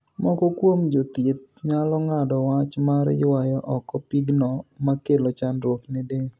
Moko kuom jo thieth nyalo ng'ado wach mar yuayo oko pigno makelo chandruok ne del.